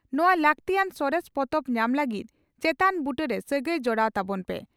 ᱱᱚᱣᱟ ᱞᱟᱹᱜᱛᱤᱭᱟᱱ ᱥᱚᱨᱮᱥ ᱯᱚᱛᱚᱵ ᱧᱟᱢ ᱞᱟᱹᱜᱤᱫ ᱪᱮᱛᱟᱱ ᱵᱩᱴᱟᱹ ᱨᱮ ᱥᱟᱹᱜᱟᱹᱭ ᱡᱚᱲᱟᱣ ᱛᱟᱵᱚᱱ ᱯᱮ ᱾